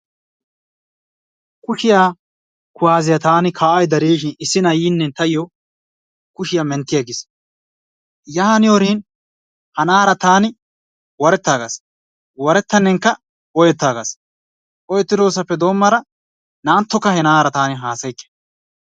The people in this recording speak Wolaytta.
Kushshiya kuwaasiya taani ka'aydda de'ishshin issi nay yiine tayo kushshiya mentti aggiis. Yaaniyoorin ha na'aara taani warettaagas. Warettannekka oyettaagas oyettidossappe doomada na'anttokka he na'aara taani hasayikke.